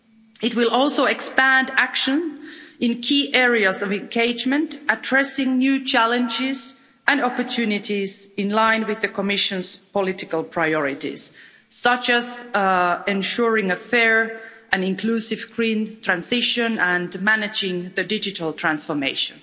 It will also expand action in key areas of engagement, addressing new challenges and opportunities in line with the Commission's political priorities, such as ensuring a fair and inclusive green transition and managing the digital transformation.